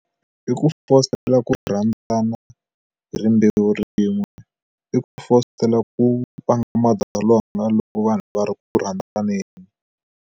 I ku fositela ku rhandzana hi rimbewu rin'we i ku fositela ku vanga madzolonga loko vanhu lava ri ku rhandzaneni.